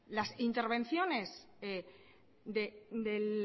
las intervenciones del